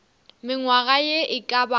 mengwaga ye e ka bago